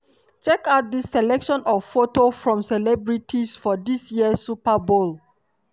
checkout dis selection of photo from celebrities for dis year super bowl.